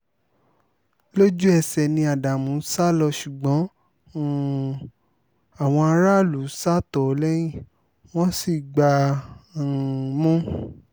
lójú-ẹsẹ̀ ni ádámù sá lọ ṣùgbọ́n um àwọn aráàlú sá tọ̀ ọ́ lẹ́yìn wọ́n sì gbá um a mú